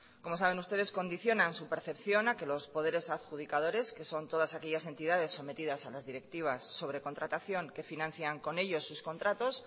como saben ustedes condicionan su percepción a que los poderes adjudicadores que son todas aquellas entidades sometidas a las directivas sobre contratación que financian con ello sus contratos